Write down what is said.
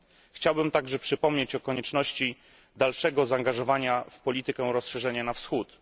Chciałbym także przypomnieć o konieczności dalszego zaangażowania w politykę rozszerzenia na Wschód.